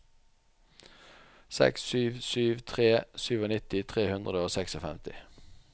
seks sju sju tre nittisju tre hundre og femtiseks